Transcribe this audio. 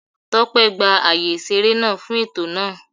Tópé gba ààyè ìṣeré náà fún ètò náà